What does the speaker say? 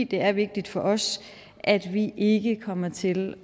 det er vigtigt for os at vi ikke kommer til